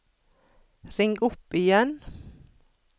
ring opp igjen